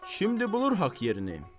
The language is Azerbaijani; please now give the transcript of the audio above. Şimdi bulur haqq yerini.